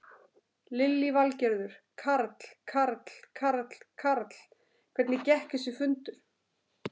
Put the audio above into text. Lillý Valgerður: Karl, Karl, Karl, Karl, hvernig gekk þessi fundur?